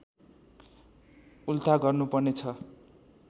उल्था गर्नुपर्ने छ